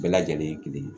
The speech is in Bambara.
Bɛɛ lajɛlen ye kelen ye